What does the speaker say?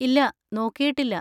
ഇല്ലാ, നോക്കിയിട്ടില്ല.